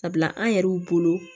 Sabula an yɛrɛw bolo